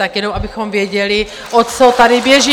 Tak jenom abychom věděli, o co tady běží.